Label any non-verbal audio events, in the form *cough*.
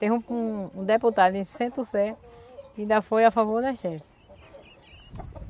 Teve um um deputado em Centro-Sé que ainda foi a favor das. *unintelligible*